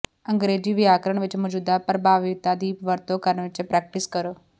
ਅੰਗਰੇਜ਼ੀ ਵਿਆਕਰਣ ਵਿੱਚ ਮੌਜੂਦਾ ਪ੍ਰਭਾਵੀਤਾ ਦੀ ਵਰਤੋਂ ਕਰਨ ਵਿੱਚ ਪ੍ਰੈਕਟਿਸ ਕਰੋ